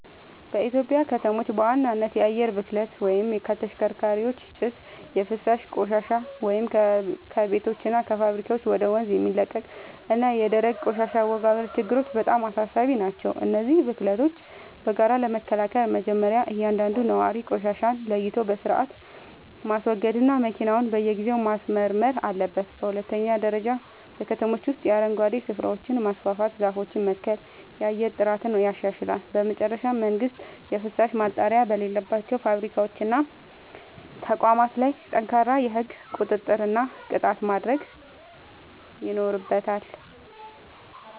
በኢትዮጵያ ከተሞች በዋናነት የአየር ብክለት (ከተሽከርካሪዎች ጭስ)፣ የፍሳሽ ቆሻሻ (ከቤቶችና ከፋብሪካዎች ወደ ወንዝ የሚለቀቅ) እና የደረቅ ቆሻሻ አወጋገድ ችግሮች በጣም አሳሳቢ ናቸው። እነዚህን ብክለቶች በጋራ ለመከላከል መጀመርያ እያንዳንዱ ነዋሪ ቆሻሻን ለይቶ በሥርዓት ማስወገድና መኪናውን በየጊዜው ማስመርመር አለበት። በሁለተኛ ደረጃ በከተሞች ውስጥ የአረንጓዴ ስፍራዎችን ማስፋፋትና ዛፎችን መትከል የአየር ጥራትን ያሻሽላል። በመጨረሻም መንግሥት የፍሳሽ ማጣሪያ በሌላቸው ፋብሪካዎችና ተቋማት ላይ ጠንካራ የሕግ ቁጥጥርና ቅጣት ማድረግ ይኖርበታል።